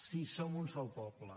sí som un sol poble